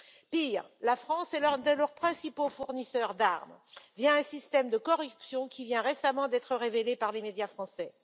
Pire, la France est l'un de leurs principaux fournisseurs d'armes via un système de corruption qui vient récemment d'être révélé par les médias français.